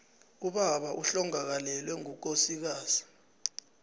ubaba ohlongakalelwe ngukosikazi